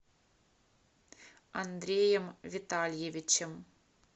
андреем витальевичем